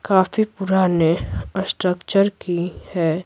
काफी पुराने स्ट्रक्चर की है।